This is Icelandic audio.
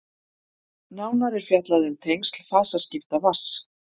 nánar er fjallað um tengsl fasaskipta vatns